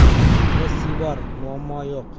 Messi bor, muammo yo‘q.